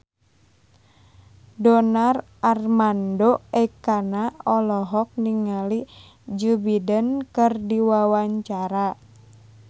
Donar Armando Ekana olohok ningali Joe Biden keur diwawancara